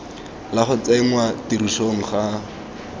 la go tsenngwa tirisong ga